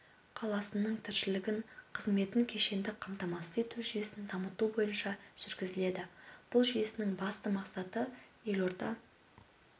қаласының тіршілік қызметін кешенді қамтамасыз ету жүйесін дамыту бойынша жүргізіледі бұл жүйенің басты мақсаты елорда